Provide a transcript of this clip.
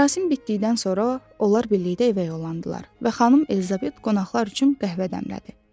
Mərasim bitdikdən sonra onlar birlikdə evə yollandılar və xanım Elizabet qonaqlar üçün qəhvə dəmlədi.